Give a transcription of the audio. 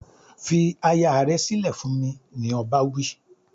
"Fi aya rẹ sílẹ̀ fún mi", ni ọba wí.